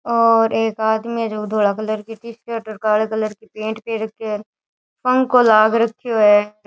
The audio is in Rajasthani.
और एक आदमी जो धोले कलर की टी सर्ट और काले कलर की पैंट पहन रखे है पंखो लाग रखे है।